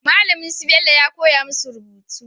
Malamin su Bello ya koya musu rubutu